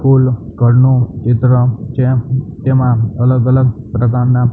full ઘરનું ચિત્ર ચે તેમાં અલગઅલગ પ્રકારના--